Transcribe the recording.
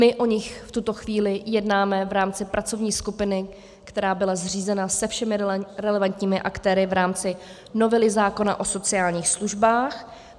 My o nich v tuto chvíli jednáme v rámci pracovní skupiny, která byla zřízena se všemi relevantními aktéry v rámci novely zákona o sociálních službách.